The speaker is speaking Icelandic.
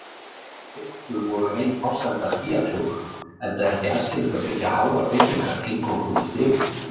Lyftur voru ein forsenda skýjakljúfa, enda ekki æskilegt að byggja háar byggingar eingöngu með stigum.